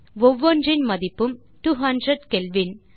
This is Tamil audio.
ஒவ்வொன்றின் மதிப்பும் 200 கெல்வின்